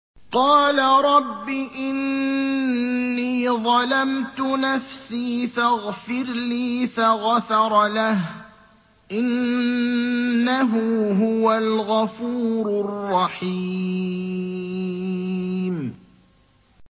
قَالَ رَبِّ إِنِّي ظَلَمْتُ نَفْسِي فَاغْفِرْ لِي فَغَفَرَ لَهُ ۚ إِنَّهُ هُوَ الْغَفُورُ الرَّحِيمُ